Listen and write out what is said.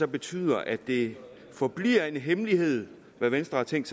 betyder at det forbliver en hemmelighed hvad venstre har tænkt